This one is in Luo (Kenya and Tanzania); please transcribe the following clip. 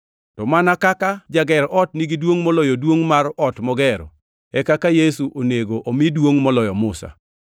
To mana kaka jager ot nigi duongʼ moloyo duongʼ mar ot mogero, e kaka Yesu onego omi duongʼ moloyo Musa.